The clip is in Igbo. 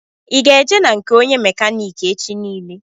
I ga eje na nke ónyé mekaniki echi niile?